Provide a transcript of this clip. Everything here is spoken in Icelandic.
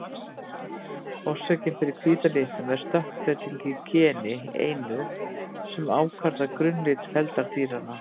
Orsökin fyrir hvíta litnum er stökkbreyting í geni einu sem ákvarðar grunnlit feldar dýranna.